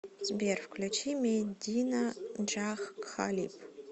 сбер включи медина джах кхалиб